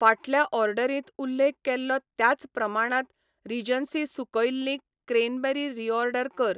फाटल्या ऑर्डरींत उल्लेख केल्लो त्याच प्रमाणात रीजन्सी सुकयल्लीं क्रॅनबेरी रीऑर्डर कर.